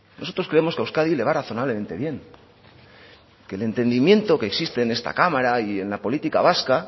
nosotros creemos que a euskadi le va razonablemente bien que el entendimiento que existe en esta cámara y en la política vasca